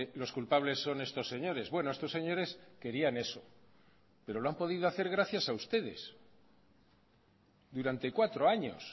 los culpables son estos señores bueno estos señores querían eso pero lo han podido hacer gracias a ustedes durante cuatro años